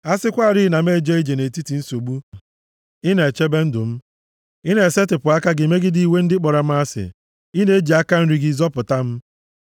A sịkwarị na m na-eje ije nʼetiti nsogbu, ị na-echebe ndụ m; ị na-esetipụ aka gị megide iwe ndị kpọrọ m asị, ị na-eji aka nri gị zọpụta m. + 138:7 \+xt Abụ 23:3-4\+xt*